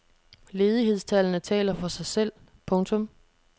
Ledighedstallene taler for sig selv. punktum